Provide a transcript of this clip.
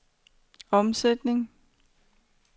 omsætningen